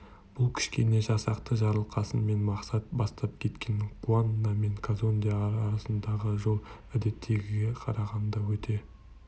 бұл кішкене жасақты жарылқасын мен мақсат бастап кеткен куанна мен казонде арасындағы жол әдеттегіге қарағанда өте